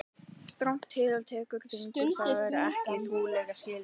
strangt til tekið gengur það ekki upp í trúarlegum skilningi